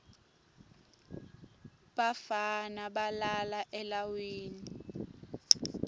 bafana balala elawini